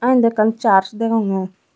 ah eyen dow ekkan church degongey.